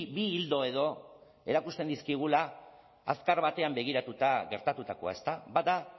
bi ildo edo erakusten dizkigula azkar batean begiratuta gertatutakoa ezta bat da